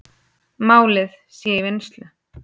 Málið sé í vinnslu.